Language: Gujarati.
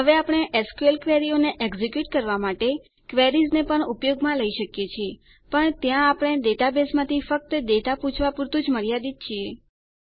હવે આપણે એસક્યુએલ ક્વેરીઓને એક્ઝેક્યુંટ કરવાં માટે ક્વેરીઝને પણ ઉપયોગમાં લઇ શકીએ છીએ પણ ત્યાં આપણે ડેટાબેઝમાંથી ફક્ત ડેટા પૂછવા પુરતું જ મર્યાદિત છીએ